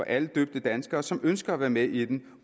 alle døbte danskere som ønsker at være med i den